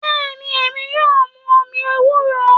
Bẹ́ẹ̀ ni, èmi yóò mu omi ewúro